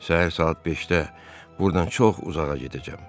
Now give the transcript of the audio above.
Səhər saat 5-də burdan çox uzağa gedəcəm.